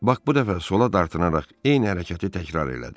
Bak bu dəfə sola dartınaraq eyni hərəkəti təkrar elədi.